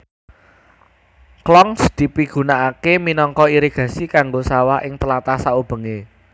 Khlongs dipigunakaké minangka irigasi kanggo sawah ing tlatah saubengé